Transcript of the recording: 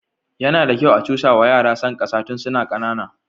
Yana da kyau a cusawa yara son ƙasa tun suna ƙanana.